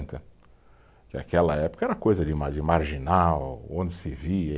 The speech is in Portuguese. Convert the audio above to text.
Naquela época era coisa de mar, de marginal, onde se via.